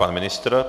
Pan ministr.